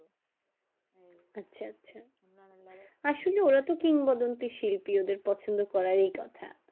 আসলে তো কিংবদন্তি শিল্পী ওদের পছন্দ করারই কথা